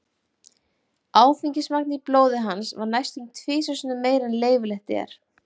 Áfengismagn í blóði hans var næstum tvisvar sinnum meira en leyfilegt er.